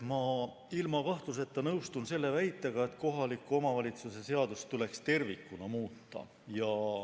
Ma ilma kahtluseta nõustun selle väitega, et kohaliku omavalitsuse seadust tuleks tervikuna muuta.